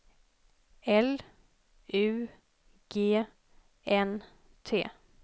L U G N T